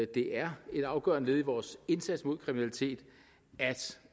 det er et afgørende led i vores indsats mod kriminalitet